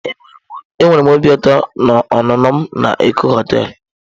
Ee enwere m obi ụtọ na ọnụnọ m na Eko hoteelu.